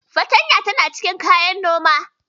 Fartanya tana cikin kayan Noma